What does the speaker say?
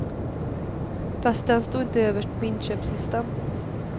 Fast den stod inte överst på inköpslistan.